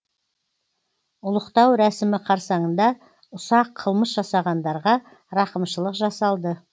ұлықтау рәсімі қарсаңында ұсақ қылмыс жасағандарға рақымшылық жасалды